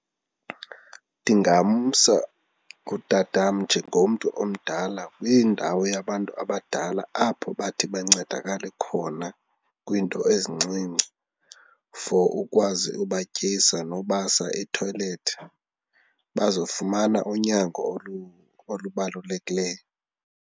Ndingamsa utata wam njengomntu omdala kwiindawo yabantu abadala apho bathi bancedakale khona kwiinto ezincinci for ukwazi ubatyisa nokubasa ethoyilethi bazofumana unyango olubalulekileyo.